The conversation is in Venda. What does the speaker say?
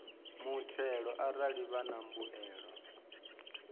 muthelo arali vha na mbuyelo